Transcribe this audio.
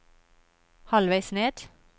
halvveis ned